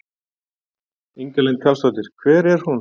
Inga Lind Karlsdóttir: Hver er hún?